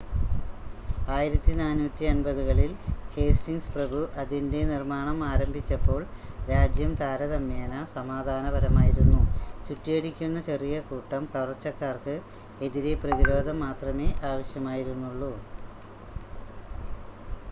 1480-കളിൽ Hastings പ്രഭു അതിൻ്റെ നിർമ്മാണം ആരംഭിച്ചപ്പോൾ രാജ്യം താരതമ്യേന സമാധാനപരമായിരുന്നു ചുറ്റിയടിക്കുന്ന ചെറിയ കൂട്ടം കവർച്ചക്കാർക്ക് എതിരെ പ്രതിരോധം മാത്രമേ ആവശ്യമായിരുന്നുള്ളൂ